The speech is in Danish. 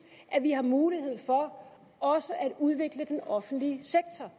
at vi har mulighed for også at udvikle den offentlige sektor